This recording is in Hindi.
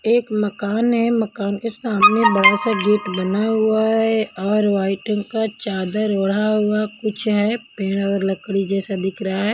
एक मकान है मकान के सामने बड़ा सा गेट बना हुआ है और व्हाइट रंग का चादर ओढ़ा हुआ कुछ है पेड़ लकड़ी जैसा दिख रहा है।